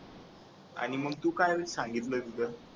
आणि मग तू काय सांगितलं तिथं?